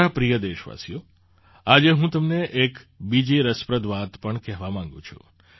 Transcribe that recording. મારા પ્રિય દેશવાસીઓ આજે હું તમને એક બીજી રસપ્રદ વાત પણ કહેવા માગું છું